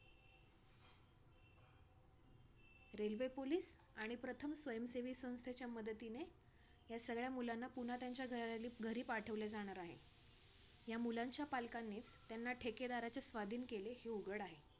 railway police आणि प्रथम स्वयंसेवी संस्थेच्या मदतीने, या सगळ्या मुलांना पुन्हा त्यांच्या घरली घरी पाठवले जाणार आहे. या मुलांच्या पालकानेंच, त्यांना ठेकेदाराच्या स्वाधीन केले हे उघड आहे.